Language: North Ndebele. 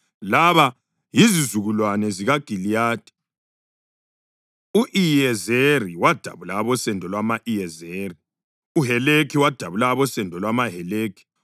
Laba yizizukulwane zikaGiliyadi: u-Iyezeri wadabula abosendo lwama-Iyezeri; uHelekhi wadabula abosendo lwamaHeleki;